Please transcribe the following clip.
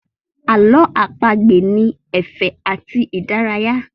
Ààlọ́ àpagbè ni ẹ̀fẹ̀ àti ìdárayá